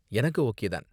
எனக்கு ஓகே தான்.